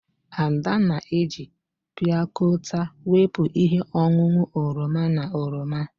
Ada na-eji piakota wepụ ihe ọṅụṅụ oroma na oroma.